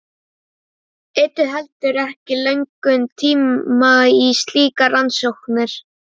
Eyddu heldur ekki löngum tíma í slíkar rannsóknir.